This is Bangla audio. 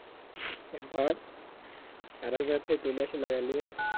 বাড়ি থেকে তুলে এসে লাগাই লিবেন